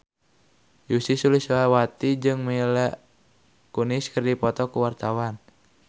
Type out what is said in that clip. Ussy Sulistyawati jeung Mila Kunis keur dipoto ku wartawan